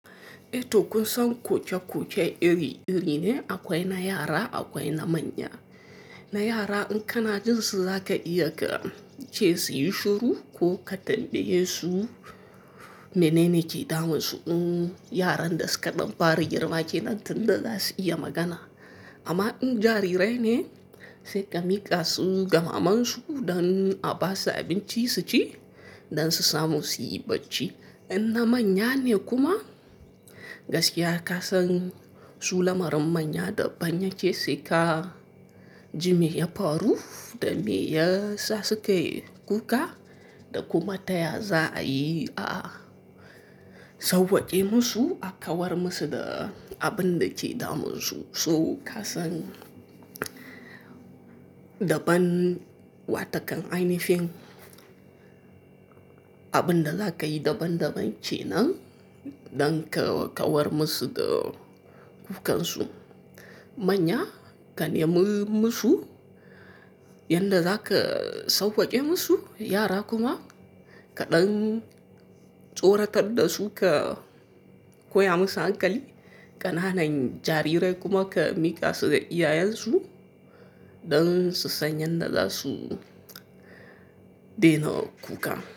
Eh to kun san kuke-kuke iri-iri ne akwai na yara akwai na manya. Na yara in kana jin su zaka iya ka ce su yi shuru ko ka tambaye su menene ke damun su. Uhm, yaran da suka ɗan fara girma kenan tun da za su iya magana. Amma in jarirai ne sai ka miƙa su ga mamansu don a ba su abinci su ci don su samu siyi bacci. In na manya ne kuma gaskiya ka san su lamarin manya da ban ya ke sai ka ji me ya faru da me yasa suke kuka da kuma taya zaayi a sauwake musu a kawar musu da abinda ke da munsu so kasan daban, wata kan ainihin abin da za ka yi daban-daban ke nan don ka kawar musu da kukansu. Manya ka nemi musu yadda za ka sauwake musu, yara kuma ka ɗan tsoratar da su ka koya musu hankali. Kananan jariri kuma ka mika su ga iyayen su don su san yadda za su daina kuka.